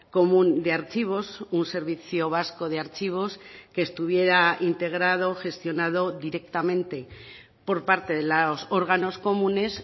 común de archivos un servicio vasco de archivos que estuviera integrado gestionado directamente por parte de los órganos comunes